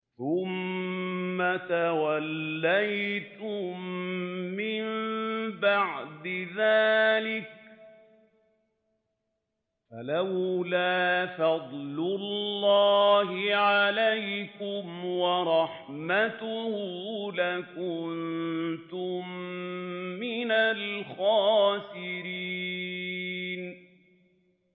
ثُمَّ تَوَلَّيْتُم مِّن بَعْدِ ذَٰلِكَ ۖ فَلَوْلَا فَضْلُ اللَّهِ عَلَيْكُمْ وَرَحْمَتُهُ لَكُنتُم مِّنَ الْخَاسِرِينَ